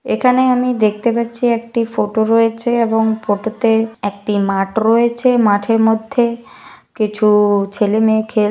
এখানে আমি দেখতে পাচ্ছি একটি ফটো রয়েছে এবং ফটো তে একটি মাঠ রয়েছে মাঠের মধ্যে কিছু ছেলে মেয়ে খেল--